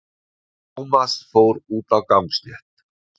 Tómas fór út á gangstétt.